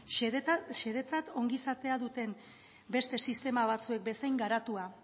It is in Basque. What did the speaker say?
xedetzat ongizatea duten beste sistema batzuek bezain garatua